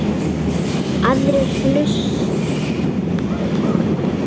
Aðrir hlutir standi mönnum nær.